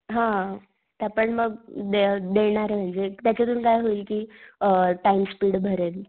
हा, त्या पण मग दे देणारे म्हणजे त्याच्या तुन काय होईल कि अ टाइम स्पीड भरेल.